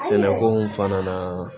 Sɛnɛko fana na